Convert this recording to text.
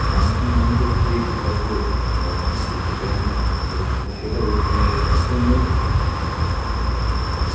মানুষে মানুষের যে ভেদাভেদ বা অশান্তি সেটা যেন রোখ সেটা রোখ রোখার জন্যই তো এই উম স্থাপন করা হয়েছিল এটা।